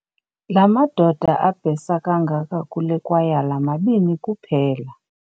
La madoda abhesa kangaka kule kwayala mabini kuphela.